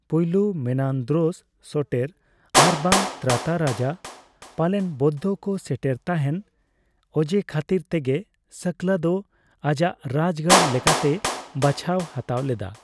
ᱯᱳᱭᱞᱳ Menandros Soter ᱟᱨᱵᱟᱝ ᱛᱨᱟᱛᱟ ᱨᱟᱡᱟ, ᱯᱟᱞᱮᱱ ᱵᱳᱫᱽᱫᱷᱚ ᱠᱚ ᱥᱮᱴᱮᱨ ᱛᱟᱦᱮᱱ ᱚᱡᱮ ᱠᱷᱟᱹᱛᱤᱨ ᱛᱮᱜᱮ ᱥᱟᱠᱞᱟ ᱫᱚ ᱟᱡᱟᱜ ᱨᱟᱡᱽᱜᱟᱲ ᱞᱮᱠᱟᱛᱮᱭ ᱵᱟᱪᱷᱟᱣ ᱦᱟᱛᱟᱣ ᱞᱮᱫᱟ ᱾